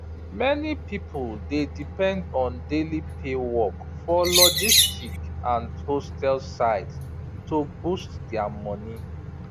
many people dey depend on daily pay work for logistic and hostel side to boost their their money